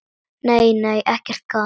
Nei, nei, ekkert gat!